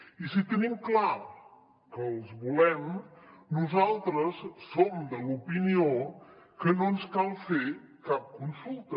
i si tenim clar que els volem nosaltres som de l’opinió que no ens cal fer cap consulta